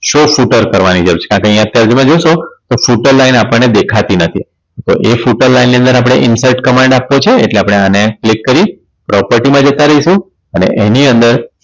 કરવાની જરૂર છે કારણ કે અહીંયા જોશો તો Flutter line આપણને દેખાતી નથી તો એ Flutter line ની અંદર આપણે Insert command આપવો છે એટલે આને click કરી property માં જતા રહ્યંશું અને એની અંદર